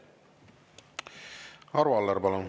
Arvo Aller, palun!